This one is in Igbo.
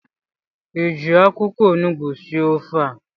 ị ji akwụkwọ onugbu sie ofe a?